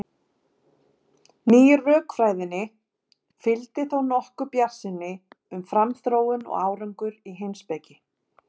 Nýju rökfræðinni fylgdi þó nokkur bjartsýni um framþróun og árangur í heimspeki.